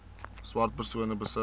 swart persone besit